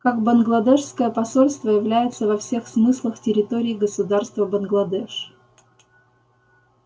как бангладешское посольство является во всех смыслах территорией государства бангладеш